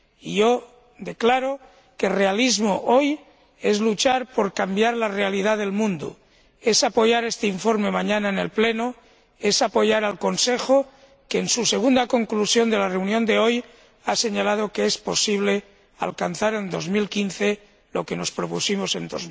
Yo declaro que realismo hoy es luchar por cambiar la realidad del mundo, es apoyar este informe mañana en el Pleno, es apoyar al Consejo que, en su segunda conclusión de la reunión de hoy, ha señalado que es posible alcanzar en 2015 lo que nos propusimos en